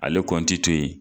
Ale kɔnti to yen.